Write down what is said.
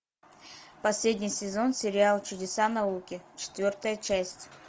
последний сезон сериал чудеса науки четвертая часть